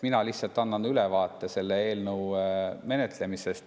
Mina lihtsalt annan ülevaate selle eelnõu menetlemisest.